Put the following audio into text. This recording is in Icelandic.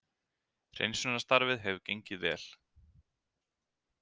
Hreinsunarstarfið hefur gengið vel